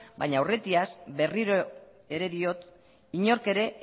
baina aurretiaz berriro ere diot inork ere